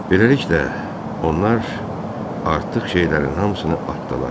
Beləliklə, onlar artıq şeylərin hamısını atdılar.